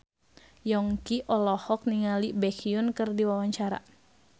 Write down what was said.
Yongki olohok ningali Baekhyun keur diwawancara